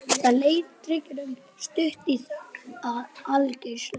Það leið drykklöng stund í þögn og aðgerðaleysi.